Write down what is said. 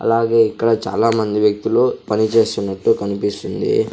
అలాగే ఇక్కడ చాలామంది వ్యక్తులు పనిచేస్తున్నట్టు కనిపిస్తుంది.